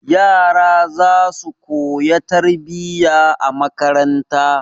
Yara za su koya tarbiyya a makaranta.